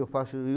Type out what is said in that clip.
Eu faço